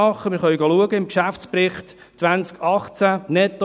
Wir können im Geschäftsbericht 2018 nachschauen.